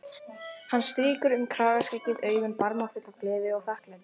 Hann strýkur um kragaskeggið, augun barmafull af gleði og þakklæti.